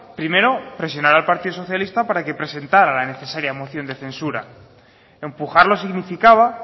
primero presionar al partido socialista para que presentara la necesaria moción de censura empujarlos significaba